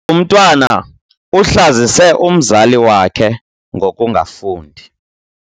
Umntwana uhlazise umzali wakhe ngokungafundi.